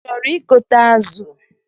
Ị chọrọ igote azụ?